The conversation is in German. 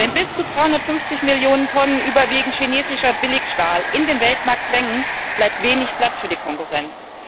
Wenn bis zu 350 Millionen Tonnen überwiegend chinesischer Billigstahl in den Weltmarkt drängen, bleibt wenig Platz für die Konkurrenz.